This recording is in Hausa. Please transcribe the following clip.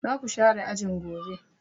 Za ku share ajin gobe!